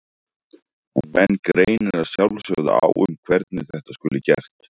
En menn greinir að sjálfsögðu á um hvernig þetta skuli gert.